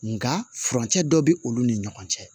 Nga furancɛ dɔ be olu ni ɲɔgɔn cɛ